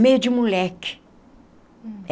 meio de moleque.